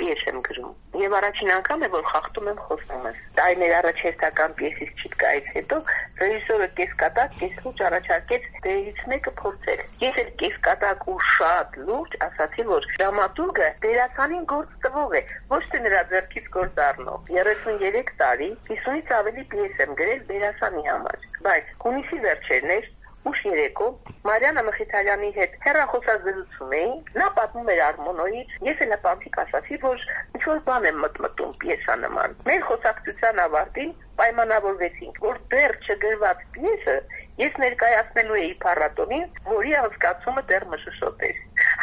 պիես եմ գրում: Եվ առաջին անգամ է, որ խախտում եմ խոստումս: Տարիներ առաջ հերթական պիեսից չիտկայից հետո ռեժիսորը կեսկատակ-կեսլուրջ առաջարկեց փորձել դերերից մեկը: Ես էլ կեսկատակ ու շատ լուրջ ասացի, որ դրամատուրգը դերասանին գործ տվող է, ոչ թե նրա ձեռքից գործ առնող: 33 տարի 50-ից ավելի պիես եմ գրել դերասանի համար: Բայց` հունիսի վերջերն էր, ուշ երեկո, Մարիաննա Մխիթարյանի հետ հեռախոսազրուցում էինք, նա պատմում էր «Արմմոնո»-ից, ես էլ հպանցիկ ասացի, որ ինչ-որ բան եմ մտմտում պիեսանման: Մեր խոսակցության ավարտին պայմանավորվեցինք, որ դեռ չգրված պիեսը ես ներկայացնելու էի փառատոնին, որի անցկացումը դեռ մշուշոտ էր: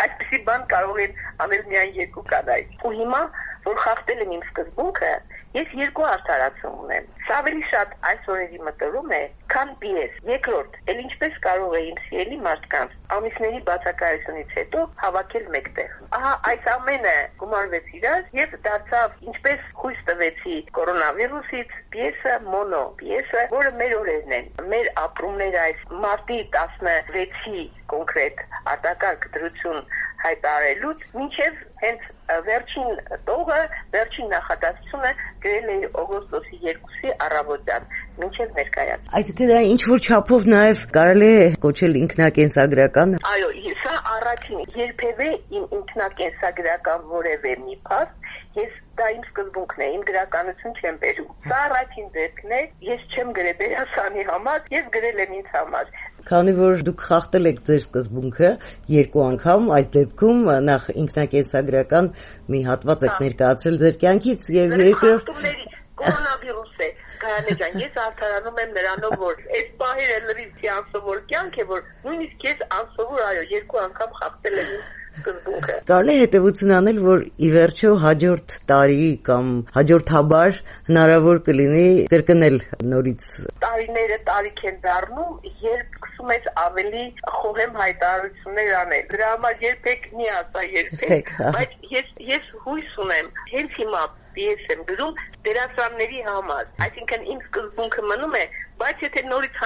Այսպիսի բան կարող են անել միայն երկու կանայք: Հիմա, որ խախտել եմ իմ սկզբունքը, ես երկու արդարացում ունեմ: Սա ավելի շատ այս օրերի մտորում է, քան պիես: Երկրորդ, էլ ինչպե՞ս կարող էի իմ սիրելի մարդկանց ամիսների բացակայությունից հետո հավաքել մեկտեղ: Ահա այս ամենը գումարվեց իրար, և դարձավ «Ինչպես խույս տվեցի կորոնավիրուսից» մոնոպիեսը, որը մեր օրերն են, մեր ապրումները մարտի 16-ին արտակարգ դրություն հայտարարելուց մինչև վերջին տող, վերջին նախադասությունը գրել էի օգոստոսի 2-ի առավոտյան, ներկայացումից անմիջապես առաջ: Այսինքն` դա ինչ-որ չափով կարելի է կոչել նաև ինքնակենսագրակա՞ն: Այո: Երբևէ ինքնակենսագրական որևէ մի փաստ, դա իմ սկզբունքն է, իմ գրականություն չեմ բերում: Սա առաջին դեպքն է. ես չեմ գրել դերասանի համար, ես գրել եմ ինձ համար: Քանի որ Դուք խախտել եք Ձեր սկզբունքը երկու անգամ... Կորոնավիրուս է... ես արդարանում եմ նրանով, որ էս պահերը լրիվ մի անսովոր կյանք է, որ նույնիսկ ես անսովոր, այո, երկու անգամ խախտել եմ իմ սկզբունքը: Կարելի է հետևություն անել, որ ի վերջո հաջորդ տարի կամ հաջորդաբար հնարավոր կլինի կրկնել: Տարիները տարիք են դառնում, երբ սկսում ես ավելի խոհեմ հայտարարություններ անել: Դրա համար երբեք մի ասա երբեք: Բայց ես հույս ունեմ. հենց հիմա պիես եմ գրում դերասանների համար, այսինքն` իմ սկզբունքը մնում է: Բայց եթե նորից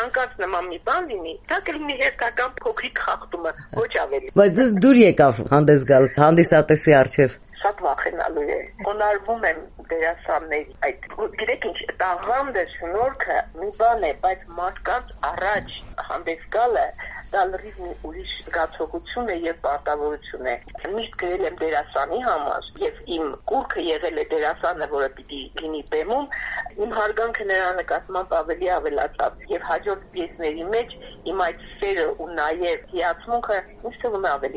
նման մի բան լինի, դա կլինի հերթական փոքրիկ խախտումը: Ոչ ավելի: Բայց Ձեզ դուր եկավ հանդես գալ հանդիսատեսի առջև: Շատ վախենալու է: Խոնարկվում եմ դերասանների առջև: Գիտեք ինչ, տաղանդը, շնորհքը մի բան է, բայց մարդկանց առաջ հանդես գալը դա լրիվ ուրիշ զգացողություն է և պարտավորություն է: Միշտ գրել եմ դերասանի համար, և իմ կուռք եղել է դերասանը, որը պիտի լինի բեմում: Իմ հարգանքը նրա նկատմամբ ավելի ավելացավ: Եվ իմ հաջորդ պիեսների մեջ իմ այդ սերը և հիացմունքը, ինձ թվում է, ավելի